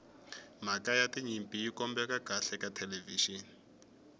mhaka ya tinyimpi yi kombeka kahle ka thelevixini